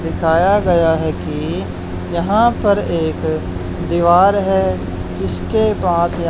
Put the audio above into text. दिखाया गया है कि यहां पर एक दीवार है जिसके पास या--